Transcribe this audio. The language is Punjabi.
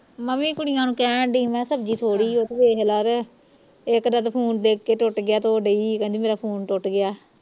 ਮੈਂ ਵੀ ਕੁੜੀਆਂ ਨੂੰ ਕਹਿਣ ਦਈ ਮੈਂ ਸਬਜੀ ਥੋੜੀ ਓ ਵੇਖਲਾ ਤੇ ਇਕ ਦਾ ਤੇ phone ਡਿਗ ਕੇ ਟੁੱਟ ਗਿਆ ਤੇ ਉਹ ਦਈ ਕਹਿੰਦੀ ਮੇਰਾ phone ਟੁੱਟ ਗਿਆ